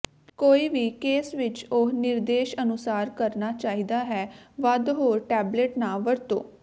ਕੋਈ ਵੀ ਕੇਸ ਵਿਚ ਉਹ ਨਿਰਦੇਸ਼ ਅਨੁਸਾਰ ਕਰਨਾ ਚਾਹੀਦਾ ਹੈ ਵੱਧ ਹੋਰ ਟੇਬਲੇਟ ਨਾ ਵਰਤੋ